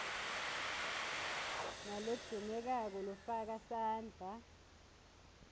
nalogcinekako lofaka sandla